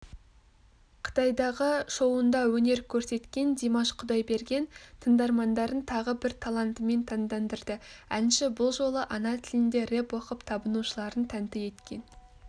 қытайдағы шоуында өнер көрсеткен димаш құдайберген тыңдармандарын тағы бір талантымен таңдандырды әнші бұл жолы ана тілінде рэп оқып табынушыларын тәнті еткен